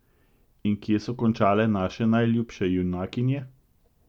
In kje so končale naše najljubše junakinje?